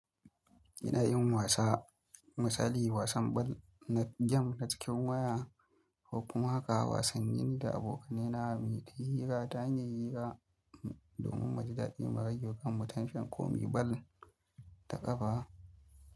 Ina yin wasa, misali wasan bal na gyam a cikin waya ko kuma haka wasanni da abokanai na mai da hira ta hanyar hira domin mu ji daɗi mu ragewa kammu, tashan komi bal da ƙafa.